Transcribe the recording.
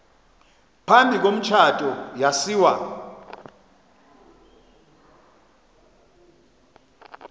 phambi komtshato yasiwa